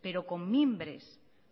pero con mimbres